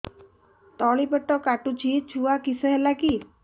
ତଳିପେଟ କାଟୁଚି ଛୁଆ କିଶ ହେଲା କି